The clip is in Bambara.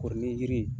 Kɔri ni yiri